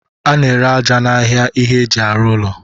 A na-ere aja n'ahịa ihe eji arụ ụlọ.